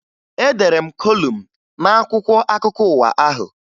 Edere m kolum n'akwụkwọ akụkọ ụwa ahụ